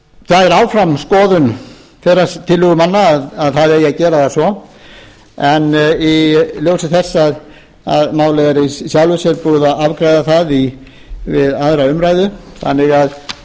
það er áfram skoðun tillögumanna að það eigi að gera það svo en í ljósi þess að málið er í sjálfu sér búið að afgreiða það við aðra umræðu þannig að þá munum við